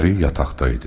Əri yataqda idi.